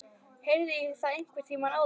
Heyrði ég það einhvern tíma áður?